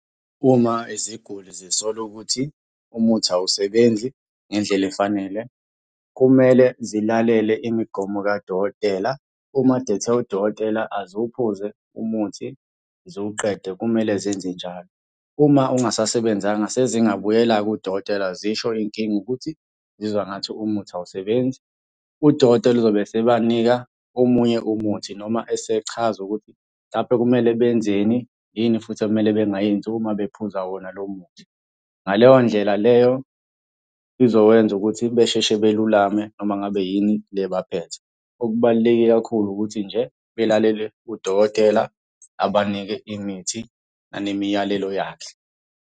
Uma iziguli zisola ukuthi umuthi awusebenzi ngendlela efanele, kumele zilalele imigomo kadokotela. Uma kade ethena udokotela aziwuphuze umuthi ziwuqede kumele zenze njalo. Uma ungasasebenzanga sezingabuyela-ke kudokotela zisho inkinga ukuthi uzizwa ngathi umuthi awusebenzi. Udokotela uzobe esebanika omunye umuthi noma esechaza ukuthi mhlampe kumele benzeni, yini futhi ekumele bengayenzi uma bephuza wona lo muthi. Ngaleyo ndlela leyo izowenza ukuthi besheshe belulame noma ngabe yini le ebaphethe. Okubaluleke kakhulu ukuthi nje belalele udokotela abanike imithi anemiyalelo yakhe.